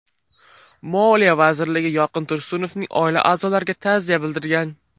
Moliya vazirligi Yorqin Tursunovning oila a’zolariga ta’ziya bildirgan.